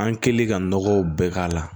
An kɛlen ka nɔgɔw bɛɛ k'a la